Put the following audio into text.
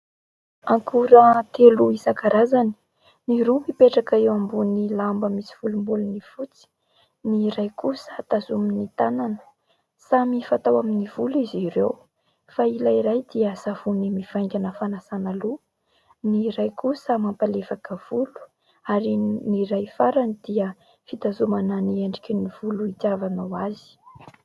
Akora telo isankarazany ny roa mipetraka eo ambony lamba misy volobolon'ny fotsy, ny iray kosa tazomin'ny tanana, samy fatao amin'ny volo izy ireo fa ilay iray dia savony mivaingana fanasana loha, ny iray kosa mampalefaka volo ary ny iray farany dia fitazomana ny endriky ny volo hitiavanao azy.